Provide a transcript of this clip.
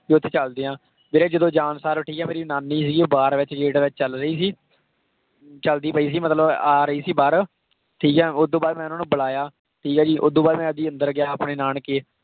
ਵੀ ਉੱਥੇ ਚੱਲਦੇ ਹਾਂ ਵੀਰੇ ਜਦੋਂ ਜਾਣ ਸਾਰ ਠੀਕ ਹੈ ਮੇਰੀ ਨਾਨੀ ਸੀਗੀ ਉਹ ਬਾਰ ਵਿੱਚ gate ਵਿੱਚ ਚੱਲ ਰਹੀ ਸੀ ਚੱਲਦੀ ਪਈ ਸੀ ਮਤਲਬ ਆ ਰਹੀ ਸੀ ਬਾਹਰ, ਠੀਕ ਹੈ ਉਹ ਤੋਂ ਬਾਅਦ ਮੈਂ ਉਹਨਾਂ ਬੁਲਾਇਆ ਠੀਕ ਹੈ ਜੀ ਉਹ ਤੋਂ ਬਾਅਦ ਮੈਂ ਜੀ ਅੰਦਰ ਗਿਆ ਆਪਣੇ ਨਾਨਕੇ।